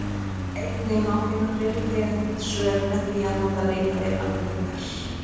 Einnig má finna fleiri tengd svör með því að nota leitarvél okkar.